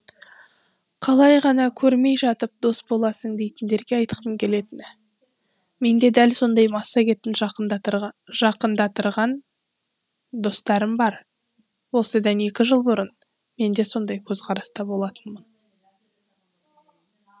қалай ғана көрмей жатып дос боласың дейтіндерге айтқым келетіні менде дәл сондай массагетім жақындатырған достарым бар осыдан екі жыл бұрын менде сондай көзқараста болатынмын